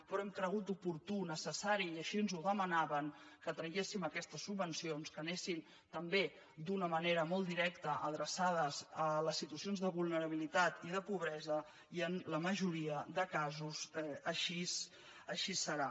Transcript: però hem cregut oportú necessari i així ens ho demanaven que traguéssim aquestes subvencions que anessin també d’una mane·ra molt directa adreçades a les situacions de vulnera·bilitat i de pobresa i en la majoria de casos així serà